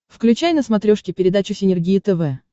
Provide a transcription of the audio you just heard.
включай на смотрешке передачу синергия тв